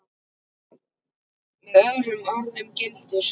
Með öðrum orðum gildir